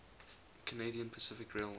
canadian pacific railway